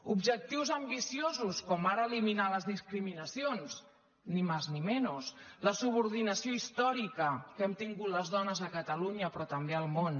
objectius ambiciosos com ara eliminar les discrimi·nacions ni más ni menos la subordinació històrica que hem tingut les dones a catalunya però també al món